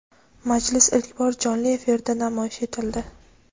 Majlis ilk bor jonli efirda namoyish etildi.